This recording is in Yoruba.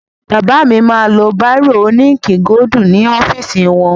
Bàbá mi máa lo báìrò òní íǹkì gódù ní ọ́fìsì wọn.